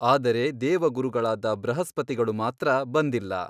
ಆದರೆ ದೇವಗುರುಗಳಾದ ಬೃಹಸ್ಪತಿಗಳು ಮಾತ್ರ ಬಂದಿಲ್ಲ.